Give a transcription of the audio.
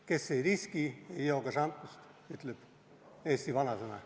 Kes ei riski, ei joo ka šampust, ütleb eesti vanasõna.